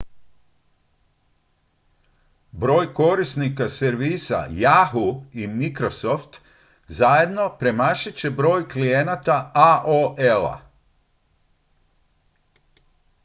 broj korisnika servisa yahoo i microsoft zajedno premašit će broj klijenata aol-a